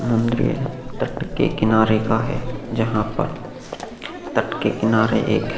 टट के किनारे का है जहाँ पर टट के किनारे एक है --